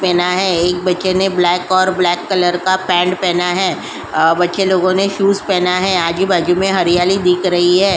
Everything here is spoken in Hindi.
पहना है एक बच्चे ने ब्लैक और ब्लैक कलर का पेंट पहना है। बच्चे लोगों ने शूज पहने है। आजू-बाजू में हरियाली दिख रही है।